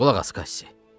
Qulaq as, Kassi.